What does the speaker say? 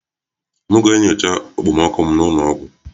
M ga-enyocha okpomọkụ m n'ụlọ ọgwụ